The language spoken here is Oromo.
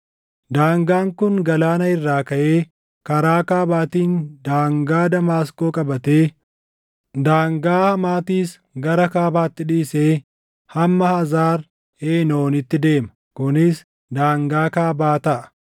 Daangaan kun galaana irraa kaʼee karaa kaabaatiin daangaa Damaasqoo qabatee, daangaa Hamaatis gara kaabaatti dhiisee hamma Hazar Eenooniitti deema. Kunis daangaa kaabaa taʼa.